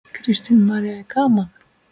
Kristín María: Er gaman?